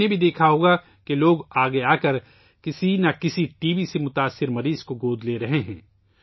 آپ نے بھی دیکھا ہوگا کہ لوگ آگے آکر کسی نہ کسی ٹی بی سے متاثرہ مریض کو گود لے رہے ہیں